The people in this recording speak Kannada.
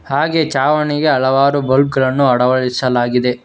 ಹಾಗೆ ಛಾವಣಗೆರೆ ಹಲವಾರು ಬಲ್ಪ್ ಗಳನ್ನು ಅಳವಡಿಸಲಾಗಿದೆ.